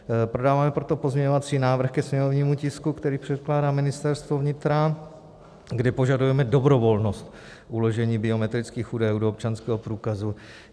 Podáváme proto pozměňovací návrh ke sněmovnímu tisku, který předkládá Ministerstvo vnitra, kde požadujeme dobrovolnost uložení biometrických údajů do občanského průkazu.